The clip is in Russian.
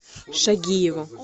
шагиеву